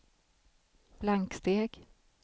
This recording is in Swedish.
blanksteg